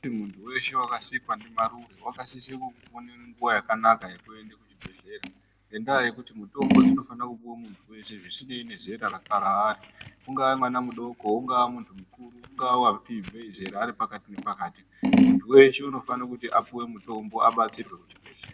Muntu weshe wakasikwe ndimarure wakasise kuwe nenguwa yakanaka yekuende kuchibhedhlera ngendaa yekuti mitombo dzinofana kupiwa muntu wese zvisinei nezera raari, ungaa mwana mudoko, ungaa muntu mukuru, ungaa wati ibvei zera ari pakati nepakati, muntu weshe unofane kuti apiwe mutombo, adetserwe kuchibhedhlera.